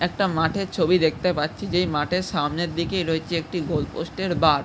একটা মাঠের ছবি দেখতে পারছি। যেই মঠের সামনের দিকে রয়েছে একটি গোল পোস্ট -এর বাক ।